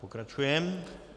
Pokračujeme.